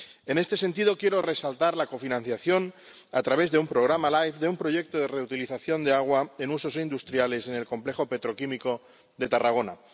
En este sentido, quiero resaltar la cofinanciación, a través de un programa Life, de un proyecto de reutilización de agua en usos industriales en el complejo petroquímico de Tarragona.